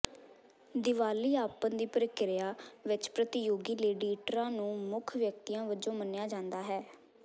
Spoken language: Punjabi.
ਦੀਵਾਲੀਆਪਨ ਦੀ ਪ੍ਰਕਿਰਿਆ ਵਿੱਚ ਪ੍ਰਤੀਯੋਗੀ ਲੇਡੀਟਰਾਂ ਨੂੰ ਮੁੱਖ ਵਿਅਕਤੀਆਂ ਵਜੋਂ ਮੰਨਿਆ ਜਾਂਦਾ ਹੈ